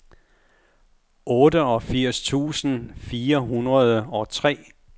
otteogfirs tusind fire hundrede og tre